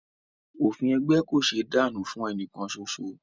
Òfin ẹgbẹ́ kò ṣéé dànù fún ẹnìkan soso